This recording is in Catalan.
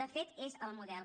de fet és el model